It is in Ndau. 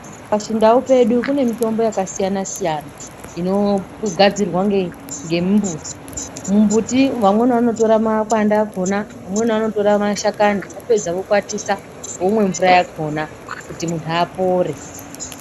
Pachindau chedu kune mitombo yakasiyana siyana inogadzirwa nemumbuti mumbuti vamweni vanotora makwati akona vopedza voikwatisa vomwa mvura yakona kuti muntu apore.